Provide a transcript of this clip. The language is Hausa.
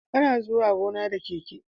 Ana zuwa gona da keke